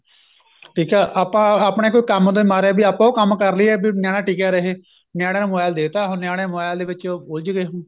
ਠੀਕ ਏ ਆਪਾਂ ਆਪਣੇ ਕੋਈ ਕੰਮ ਦੇ ਮਾਰੇ ਆਪਾਂ ਓ ਕੰਮ ਕਰ ਲਈਏ ਨਿਆਣਾ ਟਿਕਿਆ ਰਹੇ ਨਿਆਣੇ ਨੂੰ mobile ਦੇਤਾ ਹੁਣ ਨਿਆਣੇ mobile ਦੇ ਵਿੱਚ ਉਲਝ ਗਏ